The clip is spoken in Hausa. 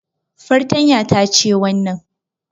Fartanya ta ce wannan